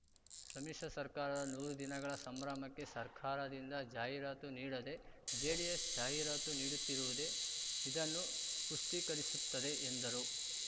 ಸಮ್ಮಿಶ್ರ ಸರ್ಕಾರದ ನೂರು ದಿನಗಳ ಸಂಭ್ರಮಕ್ಕೆ ಸರ್ಕಾರದಿಂದ ಜಾಹೀರಾತು ನೀಡದೇ ಜೆಡಿಎಸ್‌ ಜಾಹೀರಾತು ನೀಡುತ್ತಿರುವುದೇ ಇದನ್ನು ಪುಷ್ಟೀಕರಿಸುತ್ತದೆ ಎಂದರು